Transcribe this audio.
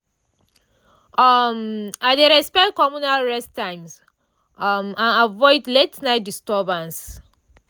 um i dey respect communal rest times um and avoid late-night disturbances.